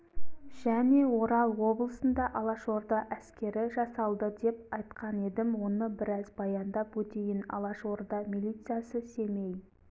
және орал облысында алашорда әскері жасалды деп айтқан едім оны біраз баяндап өтейін алашорда милициясы семей